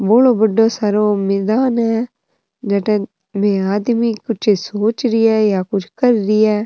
बोलो बड़ो सारा मैदान है जठे आदमी कुछ सोच रिया है या कर रिया है।